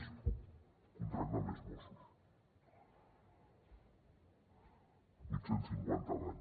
és contractar més mossos vuit cents i cinquanta a l’any